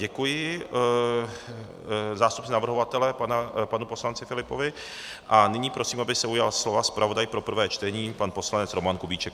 Děkuji zástupci navrhovatele panu poslanci Filipovi a nyní prosím, aby se ujal slova zpravodaj pro prvé čtení pan poslanec Roman Kubíček.